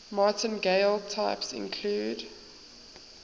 martingale types include